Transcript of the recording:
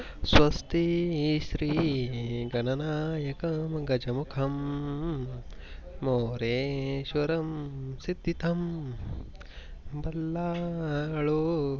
स्वतिक श्री गणनायककंम गजमुखम मोरेश्वरमं सिद्धीतम बलालो.